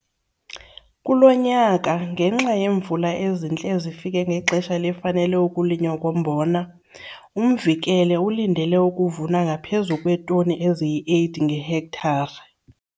Kulo nyaka, ngenxa yeemvula ezintle ezifike ngexesha elifanele ukulinywa kombona, uMvikele ulindele ukuvuna ngaphezu kweetoni eziyi-8 ngehektare.